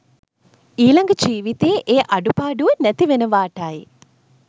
ඊළඟ ජීවිතයේ ඒ අඩුපාඩුව නැතිවෙනවාටයි.